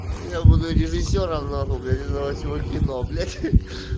я буду режиссёром нахуй блять этого всего кино блять